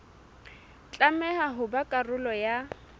tlameha ho ba karolo ya